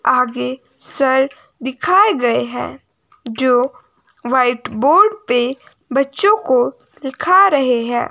आगे सर दिखाए गए हैं जो व्हाइट बोर्ड पे बच्चों को दिखा रहे हैं।